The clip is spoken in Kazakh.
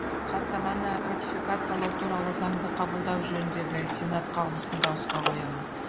хаттаманы ратификациялау туралы заңды қабылдау жөніндегі сенат қаулысын дауысқа қоямын